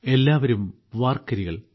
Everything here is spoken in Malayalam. എല്ലാവരും വാർക്കരികൾ